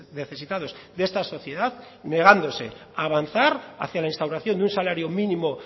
necesitados de esta sociedad negándose a avanzar hacia la instauración de un salario mínimo